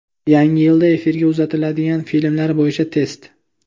Yangi yilda efirga uzatiladigan filmlar bo‘yicha test.